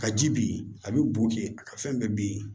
Ka ji ben a bi boke a ka fɛn bɛɛ bin